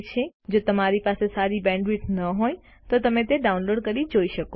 જો તમારી પાસે સારી બેન્ડવિડ્થ ન હોય તો તમે ડાઉનલોડ કરી તે જોઈ શકો છો